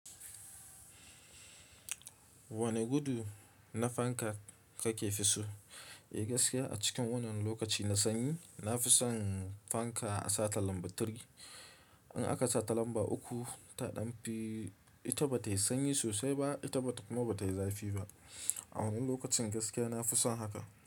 Wane gudu na fanka kake fi so? Eh gaskiya a cikin wannan lokaci na sanyi na fi son fanka a sata lamba three In aka sata lamba uku, taɗan fi ita bata yi sanyi sosai ba, ita bata kuma bata yi zafi ba. A wannan lokacin gaskiya na fi son haka.